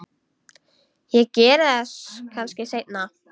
Ég geri það kannski seinna.